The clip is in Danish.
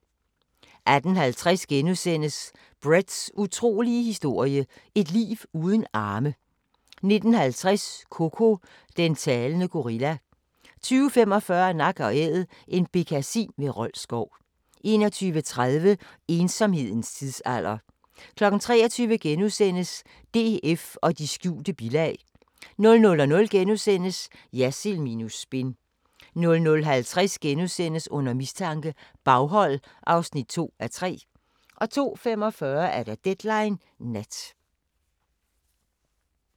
18:50: Bretts utrolige historie – et liv uden arme * 19:50: Koko – den talende gorilla 20:45: Nak & Æd – en bekkasin ved Rold Skov 21:30: Ensomhedens tidsalder 23:00: DF og de skjulte bilag * 00:00: Jersild minus spin * 00:50: Under mistanke – Baghold (2:3)* 02:45: Deadline Nat